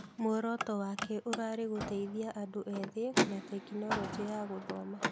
Mũoroto wake ũrarĩ gũteithia andũ ethĩ na tekinoronjĩ ya gũthoma.